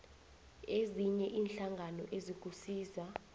ezinye iinhlangano ezikusiza